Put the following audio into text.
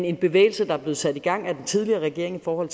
en bevægelse der er blevet sat i gang af den tidligere regering for